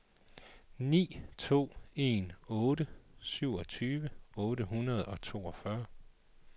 ni to en otte syvogtyve otte hundrede og toogfyrre